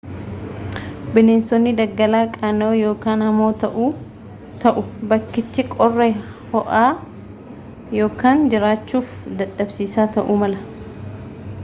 bineensotni daggalaa qaana'oo ykn hamoo ta'u bakkichii qorraa ho'aa ykn jiraachuuf dadhabsiisaa ta'uu mala